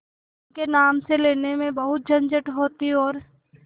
उनके नाम से लेने में बहुत झंझट होती और